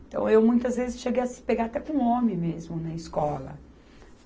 Então, eu muitas vezes cheguei a se pegar até com homem mesmo na escola.